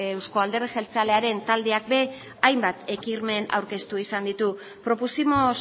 eusko alderdi jeltzalearen taldeak ere hainbat ekimen aurkeztu izan ditu propusimos